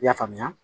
I y'a faamuya